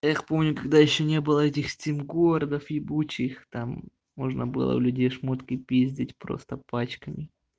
эх помню когда ещё не было этих стен городов ебучих там можно было в людей шмотки пиздеть просто пачками